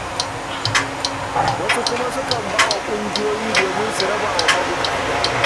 Wasu kuma sukan ba wa ƙungiyoyi domin su raba wa mabuƙata.